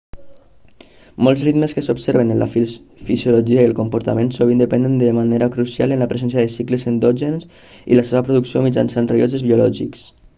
molts ritmes que s'observen en la fisiologia i el comportament sovint depenen de manera crucial en la presència de cicles endògens i la seva producció mitjançant rellotges biològics